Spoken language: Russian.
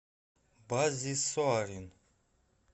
баззи соарин